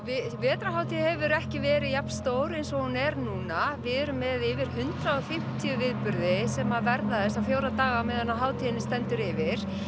vetrarhátíð hefur ekki verið jafn stór eins og hún er núna við erum með yfir hundrað og fimmtíu viðburði sem að verða þessa fjóra daga á meðan hátíðin stendur yfir